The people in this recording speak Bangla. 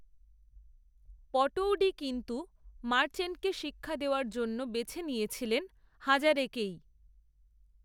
পটৌডি কিন্ত্ত মার্চেন্টকে শিক্ষা দেওয়ার জন্য বেছে নিয়েছিলেন হাজারেকেই